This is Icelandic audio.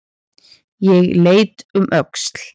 Ég leit um öxl.